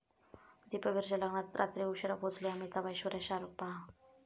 दीपवीरच्या लग्नात रात्री उशिरा पोचले अमिताभ, ऐश्वर्या, शाहरुख! पहा